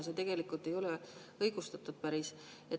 See ei ole päris õigustatud.